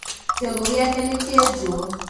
Kĩongo gĩake nĩkĩenjwo